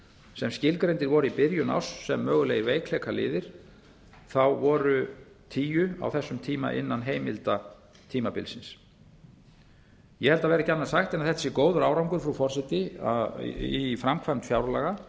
sem skilgreindir voru í byrjun árs sem mögulegir veikleikaliðir voru tíu á þessum tíma innan heimilda tímabilsins ég held að það verði ekki annað sagt en að þetta sé góður árangur frú forseti í framkvæmd fjárlaga